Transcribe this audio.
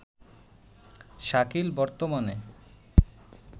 শাকিল বর্তমানে